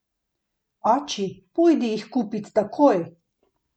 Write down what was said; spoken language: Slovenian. Oči, pojdi jih kupit takoj!